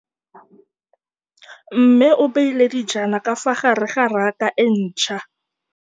Mmê o beile dijana ka fa gare ga raka e ntšha.